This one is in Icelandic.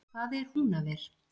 Hvað er Húnaver!